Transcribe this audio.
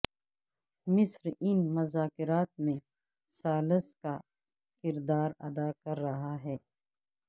مصر ان مذاکرات میں ثالث کا کردار ادا کر رہا ہے